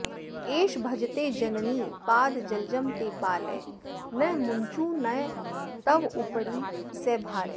एष भजते जननि पादजलजं ते पालय नु मुञ्च नु तवोपरि स भारः